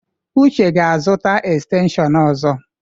Uche ga-azụta estenshịon ọzọ.